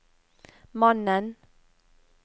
mannen